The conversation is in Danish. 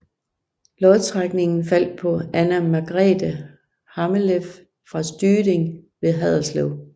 Lodtrækningen faldt på Anna Margrethe Hammeleff fra Styding ved Haderslev